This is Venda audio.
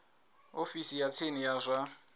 ofisi ya tsini ya zwa